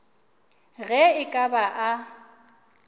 ge e ka ba a